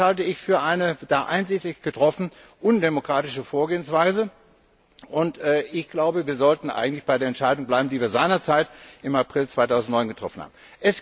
Das halte ich für eine da einseitig getroffen undemokratische Vorgehensweise, und ich glaube, wir sollten bei der Entscheidung bleiben, die wir seinerzeit im April 2009 getroffen haben.